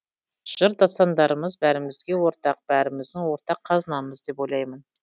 жыр дастандарымыз бәрімізге ортақ бәріміздің ортақ қазынамыз деп ойлаймын